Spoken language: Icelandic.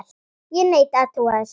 Ég neita að trúa þessu!